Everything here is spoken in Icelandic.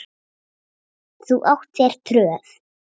Þú átt þér tröð.